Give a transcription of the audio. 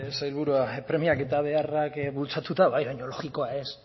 sailburua premiak eta beharrak bultzatuta bai baina logikoa ez